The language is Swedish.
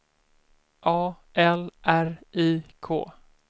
A L R I K